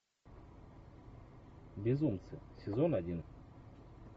безумцы сезон один